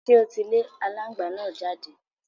Ṣé o ti lé alángbàá náà jáde?